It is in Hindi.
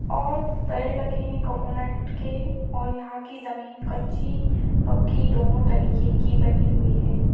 और पेड़ लगे हुए हैं कोकोनेट के और यहां की जमीन कच्ची पक्की दोनों तरीके कि बनी हुई है।